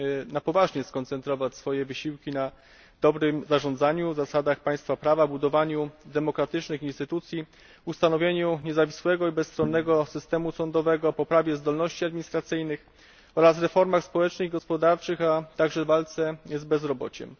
na poważnie skoncentrować swoje wysiłki na dobrym zarządzaniu, zasadach państwa prawa, budowaniu demokratycznych instytucji, ustanowieniu niezawisłego i bezstronnego systemu sądowego, poprawie zdolności administracyjnych oraz reformach społecznych i gospodarczych, a także na walce z bezrobociem.